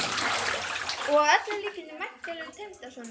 Og að öllum líkindum væntanlegur tengdasonur!